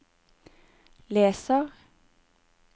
leser